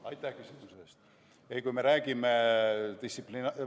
Aitäh küsimuse eest!